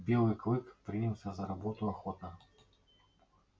белый клык принялся за работу охотно